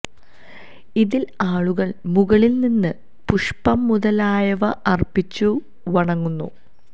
ഇതില് ആളുകല് മുകളില് നിന്ന് പുഷ്പം മുതലായവ അര്പ്പിച്ചു വണങ്ങുന്നു